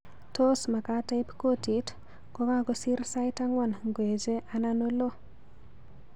Tos magaat aiip kotit kogagosiir sait angwan ngoeche anan olo